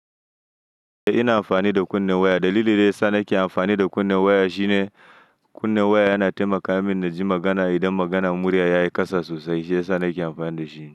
Ina amfani da kunnen waya. Dalilin da yasa nake amfani da kunnen waya shine kunnen waya yana taimaka min na ji magana idan maganan murya ya yi ƙasa sosai. Shi ya sa nake amfani da shi.